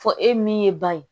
Fɔ e min ye ban ye